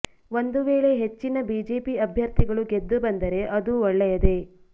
ಒಂದು ವೇಳೆ ಹೆಚ್ಚಿನ ಬಿಜೆಪಿ ಅಭ್ಯರ್ಥಿಗಳು ಗೆದ್ದು ಬಂದರೆ ಅದೂ ಒಳ್ಳೆಯದೇ